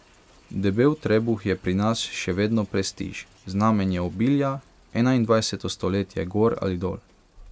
Debel trebuh je pri nas še vedno prestiž, znamenje obilja, enaindvajseto stoletje gor ali dol.